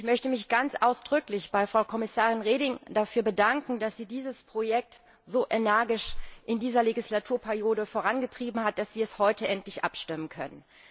Und ich möchte mich ganz ausdrücklich bei Frau Kommissarin Reding dafür bedanken, dass sie dieses Projekt so energisch in dieser Legislaturperiode vorangetrieben hat, dass wir heute endlich darüber abstimmen können.